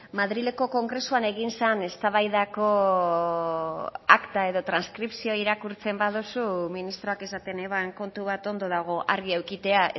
madrileko kongresuan egin zen eztabaidako akta edo transkripzioa irakurtzen baduzu ministroak esaten eban kontu bat ondo dago argi edukitzea